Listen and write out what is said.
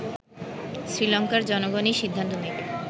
শ্রীলংকার জনগণই সিদ্ধান্ত নেবে